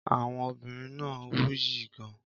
Àwọn obìnrin náà wuyì gan-an.